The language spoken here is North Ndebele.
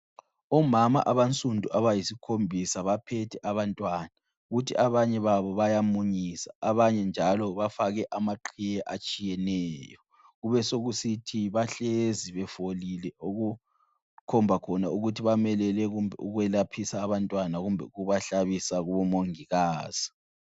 Omama abansundu abayisikhombisa baphethe abantwana. Kuthi abanye babo bayamunyisa. Abanye njalo bafake amaqhiye atshiyeneyo, kubesekusithi bahlezi befolile okukhomba khona ukuthi bamelele kumbe ukwelaphisa abantwana kumbe ukuhlabisa kubomongikazi.